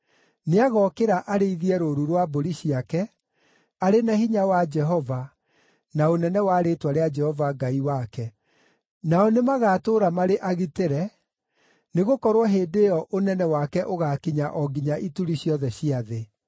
Nĩagookĩra arĩithie rũũru rwa mbũri ciake arĩ na hinya wa Jehova, na ũnene wa rĩĩtwa rĩa Jehova Ngai wake. Nao nĩmagatũũra marĩ agitĩre, nĩgũkorwo hĩndĩ ĩyo ũnene wake ũgaakinya o nginya ituri ciothe cia thĩ.